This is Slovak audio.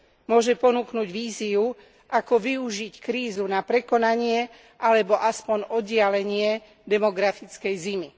Môže ponúknuť víziu, ako využiť krízu na prekonanie alebo aspoň oddialenie demografickej zimy.